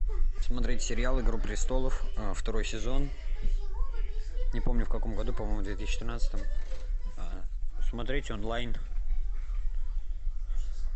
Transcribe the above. смотреть сериал игру престолов второй сезон не помню в каком году по моему в две тысячи тринадцатом смотреть онлайн